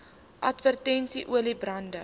advertensies olie bande